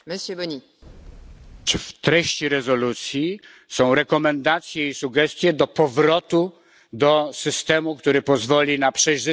W treści rezolucji są rekomendacje i sugestie dotyczące powrotu do systemu, który pozwoli na przejrzystość dokonywania wyborów.